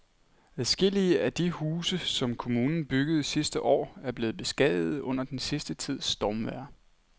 Adskillige af de huse, som kommunen byggede sidste år, er blevet beskadiget under den sidste tids stormvejr.